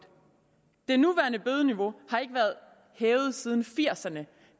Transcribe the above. det nuværende bødeniveau har ikke været hævet siden nitten firserne